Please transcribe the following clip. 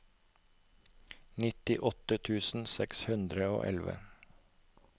nittiåtte tusen seks hundre og elleve